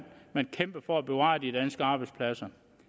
man kæmpede for at bevare de danske arbejdspladser